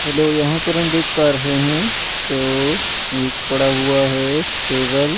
hello यहां पर हम देख पा रहे हैं तो एक पड़ा हुआ है टेबल --